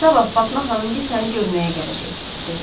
Sabah Fatma xanımgil səni görməyə gələcək, dedi.